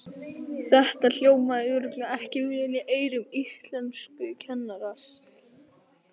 Þetta hljómaði örugglega ekki vel í eyrum íslenskukennarans!